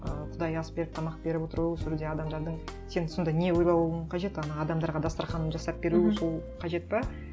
ыыы құдайы ас беріп тамақ беріп отыру сол кезде адамдардың сен сонда не ойлауың қажет ана адамдарға дастарқанын жасап беру сол қажет пе